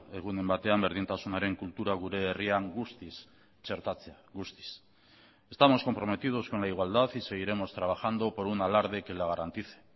egunen batean berdintasunaren kultura gure herrian guztiz txertatzea guztiz estamos comprometidos con la igualdad y seguiremos trabajando por un alarde que la garantice